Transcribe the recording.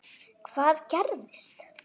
Elísabet Hall: Hvað gerðist?